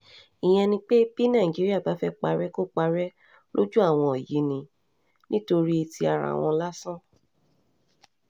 ìyẹn ni pé bí nàìjíríà bá fẹ́ẹ́ parẹ́ kò parẹ́ lójú àwọn yìí ni nítorí ti ara wọn lásán